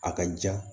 A ka ja